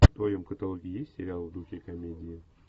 в твоем каталоге есть сериал в духе комедии